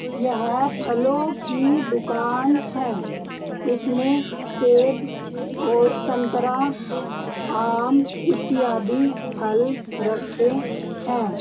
यहां फलों की दुकान है इसमें सेब औ संतरा आम इत्यादि फल रखे है।